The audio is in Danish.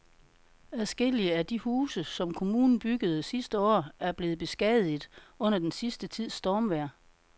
Adskillige af de huse, som kommunen byggede sidste år, er blevet beskadiget under den sidste tids stormvejr.